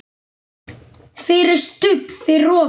FYRIR STUBB fyrir ofan.